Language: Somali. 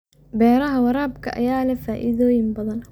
Beeraha waraabka ayaa leh faa'iidooyin badan.